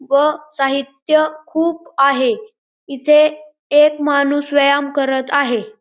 व साहित्य खूप आहे इथे एक माणूस व्यायाम करत आहे.